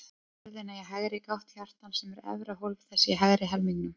Hefjum ferðina í hægri gátt hjartans, sem er efra hólf þess í hægri helmingnum.